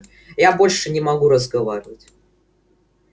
я больше не могу разговаривать